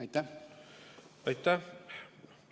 Aitäh!